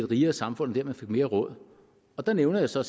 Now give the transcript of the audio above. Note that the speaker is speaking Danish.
et rigere samfund og dermed fik mere råd og der nævner jeg så